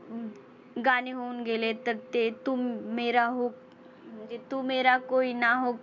गाणी होऊन गेलेत. तर ते तू मेरा म्हणजे तू मेरा कोई ना हो